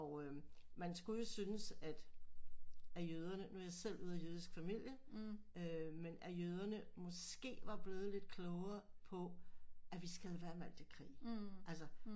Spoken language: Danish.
Og øh man skulle jo synes at at jøderne nu er jeg selv ude af jødisk familie øh men øh at jøderne måske var blevet lidt klogere på at vi skal lade være med alt det krig